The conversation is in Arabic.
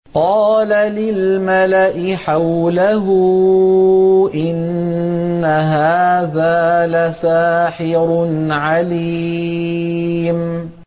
قَالَ لِلْمَلَإِ حَوْلَهُ إِنَّ هَٰذَا لَسَاحِرٌ عَلِيمٌ